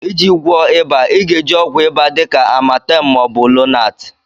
Iji gwọọ ịba, ị ga-eji ọgwụ ịba dị ka Amatem ma ọ bụ Lonart.